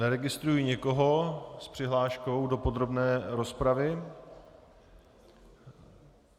Neregistruji nikoho s přihláškou do podrobné rozpravy.